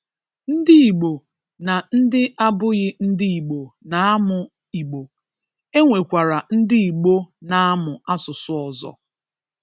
Ndị Igbo, na ndị abụghị ndị Igbo na-amụ Igbo, e nwekwara ndị Igbo na-amụ asụsụ ọzọ